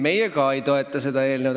Meie ka ei toeta seda eelnõu.